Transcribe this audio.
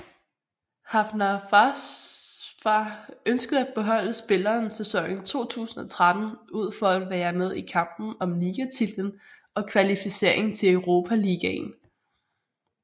Hafnarfjarðar ønskede at beholde spilleren sæsonen 2013 ud for at være med i kampen om ligatitlen og kvalificering til Europaligaen